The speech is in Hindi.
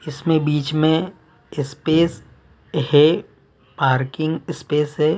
इसके बिच में स्पेस है पार्किंग स्पेस है।